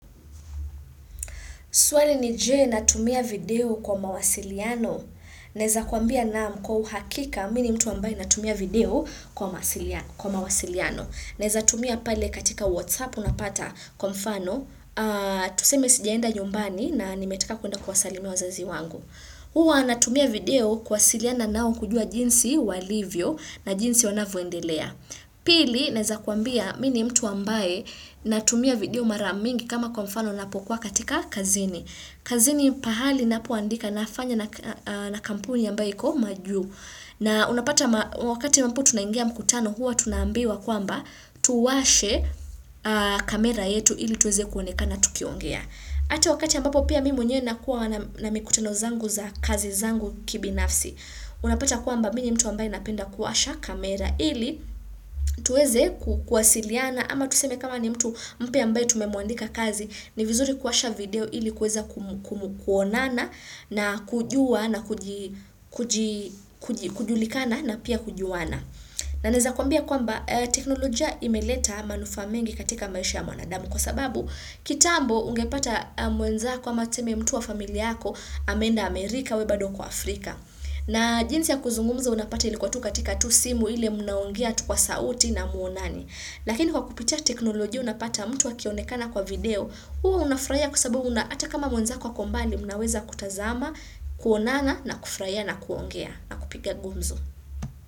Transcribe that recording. Swali ni je natumia video kwa mawasiliano Naweza kuambia naam kwa uhakika mimi mtu ambaye natumia video kwa mawasiliano. Naweza tumia pale katika WhatsApp unapata kwa mfano tuseme sijaenda nyumbani na nimetaka kuenda kuwasalimia wazazi wangu. Huwa natumia video kuwasiliana nao kujua jinsi walivyo na jinsi wanavyoendelea. Pili naweza kuambia mimi ni mtu ambaye natumia video mara mingi kama kwa mfano napokuwa katika kazini kazini pahali napoandika nafanya na kampuni ambaye iko majuu na unapata wakati ambao tunangia mkutano huwa tunaambiwa kwamba tuwashe kamera yetu ili tuweze kuonekana tukiongea Hata wakati ambapo pia mimi mwenyewe nakuwa na mikutano zangu za kazi zangu kibinafsi Unapata kwamba mimi ni mtu ambaye napenda kuwasha kamera ili tuweze kuwasiliana ama tuseme kama ni mtu mpya ambaye tumemuandika kazi ni vizuri kuwasha video ili kuweza kuonana na kujua na kujulikana na pia kujuana. Na naweza kuambia kwamba teknolojia imeleta manufaa mengi katika maisha ya mwanadamu kwa sababu kitambo ungepata mwenzako ama tuseme mtu wa familia yako ameenda Amerika wewe bado uko Afrika. Na jinsi ya kuzungumza unapata ilikuwa tu katika tu simu ile mnaongea tu kwa sauti na hamuonani. Lakini kwa kupitia teknolojia unapata mtu akionekana kwa video, huo unafurahia kwa sababu ata kama mwenzako ako mbali mnaweza kutazama, kuonana na kufurahia na kuongea na kupiga gumzo.